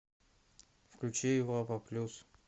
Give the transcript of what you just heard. включи европа плюс